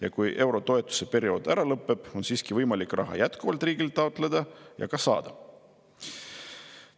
Ja kui eurotoetuste periood ära lõpeb, kas on siiski võimalik raha jätkuvalt riigilt taotleda ja ka saada?